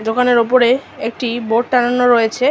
দোকানের উপরে একটি বোর্ড টাঙানো রয়েছে।